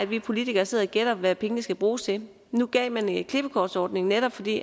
vi politikere sidder og gætter hvad pengene skal bruges til nu gav man en klippekortsordning netop fordi